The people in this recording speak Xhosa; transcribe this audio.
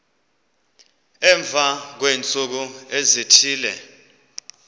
emva kweentsuku ezithile